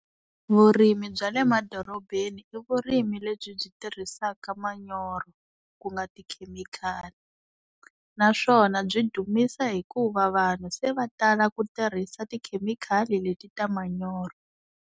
Vurimi bya le madorobeni i vurimi lebyi byi tirhisaka manyoro, ku nga tikhemikhali naswona byi dumisa hikuva vanhu se va tala ku tirhisa tikhemikhali leti ta manyoro.